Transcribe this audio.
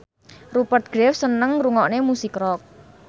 Rupert Graves seneng ngrungokne musik rock